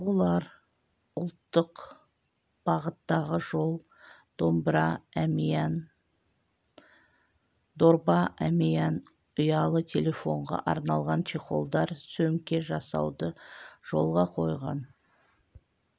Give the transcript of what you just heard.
олар ұлттық бағыттағы жол дорба әмиян ұялы телефонға арналған чехолдар сөмке жасауды жолға қойған